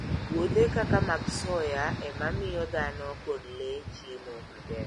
Puothe kaka mag soya e ma miyo dhano kod le chiemo maber.